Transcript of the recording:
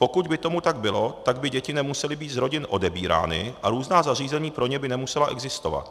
Pokud by tomu tak bylo, tak by děti nemusely být z rodin odebírány a různá zařízení pro ně by nemusela existovat.